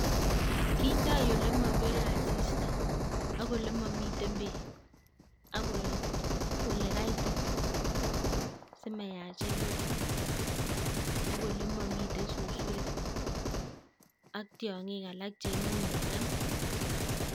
Kindoi ole mapire asista ak ole mamiten beek ak ole kaitit simayachikitu ak ole mamitei susurik ak tiongik alak che imuche kongem.